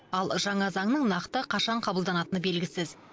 ал жаңа заңның нақты қашан қабылданатыны белгісіз